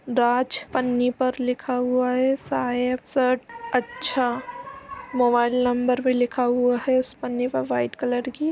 राज पन्नी पर लिखा हुआ है सायेद शर्ट अच्छा मोबाइल नंबर भी लिखा हुआ हैं उस पन्नी पर व्हाइट कलर की --